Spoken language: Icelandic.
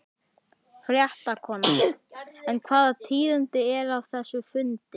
Fréttakona: En hvaða tíðindi eru af þessum fundi?